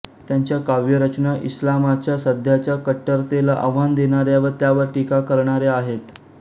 त्यांच्या काव्यरचना इस्लामाच्या सध्याच्या कट्टरतेला आव्हान देणाऱ्या व त्यावर टीका करणाऱ्या आहेत